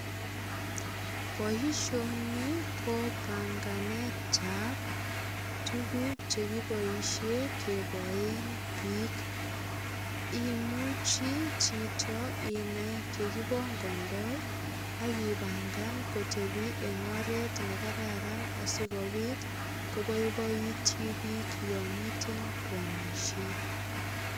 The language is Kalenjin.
Boisioni ko banganetab tuguk che kiboisien keboen biik. Imuchi chito inai yekibongondoi ak ibangan kotepi eng oret nekararan sigopit koboiboutyi biik yomite koamisie.